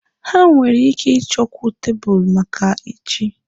Ha nwere ike ịchọkwu tebụl maka echi.